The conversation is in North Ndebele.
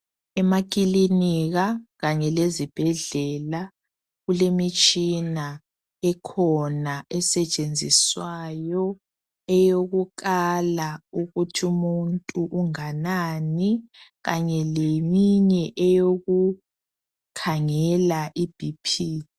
Emakilinika kanye lezibhedlela kulemitshina ekhona esetshenziswayo eyokukala ukuthi umuntu unganani kanye leminye eyokukhangela iBp.